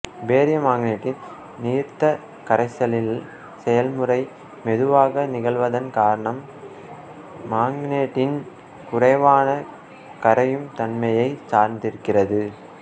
barium மாங்கனேட்டின் நீர்த்த கரைசலில்ல் செயல்முறை மெதுவாக நிகழ்வதன் காரணம் மாங்கனேட்டின் குறைவான கரையும் தன்மையைச் சார்ந்திருக்கிறது